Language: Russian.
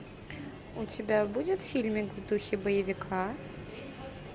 у тебя будет фильмик в духе боевика